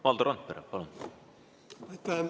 Valdo Randpere, palun!